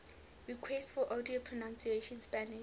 requests for audio pronunciation spanish